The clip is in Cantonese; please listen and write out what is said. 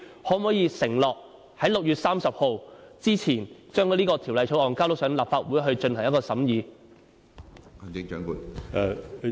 你可否承諾在6月30日前將有關法案提交立法會進行審議？